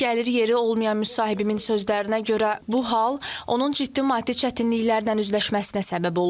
Gəlir yeri olmayan müsahibimin sözlərinə görə bu hal onun ciddi maddi çətinliklərlə üzləşməsinə səbəb olub.